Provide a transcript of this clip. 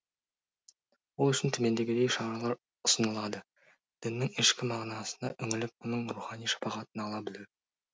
ол үшін төмендегідей шаралар ұсынылады діннің ішкі мағынасына үңіліп оның рухани шапағатын ала білу